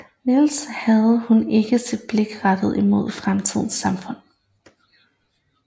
Nielsen havde hun ikke sit blik rettet imod fremtidens samfund